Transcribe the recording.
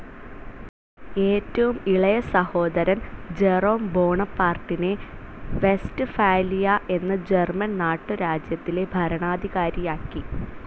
ഏറ്റവും ഇളയ സഹോദരൻ ജെറോം ബോണപ്പാർട്ടിനെ വെസ്റ്റ്ഫാലിയ എന്ന ജർമൻ നാട്ടുരാജ്യത്തിലെ ഭരണാധികാരിയാക്കി.